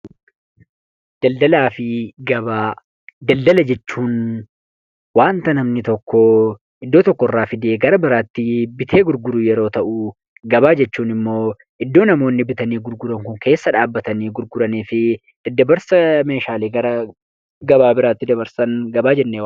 Daldala jechuun waanta namni tokko iddoo tokko irraa fidee gara biraatti bitee gurguru yoo ta'u, gabaa jechuun immoo iddoo namoonni bitanii gurguranii fi daddabarsa meeshaalee gabaa biraatti dabarsan gabaa jennee waamna.